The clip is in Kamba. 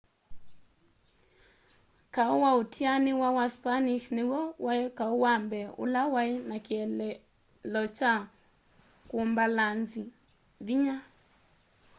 kau wa utianiwa wa spanish niw'o wai kau wa mbee ula wai na kieleelo kya kumbalanzi vinya